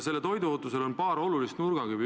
Sellel toiduohutusel on paar olulist nurgakivi.